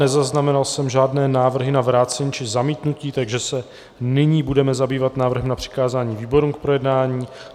Nezaznamenal jsem žádné návrhy na vrácení či zamítnutí, takže se nyní budeme zabývat návrhem na přikázání výborům k projednání.